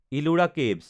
Ellora caves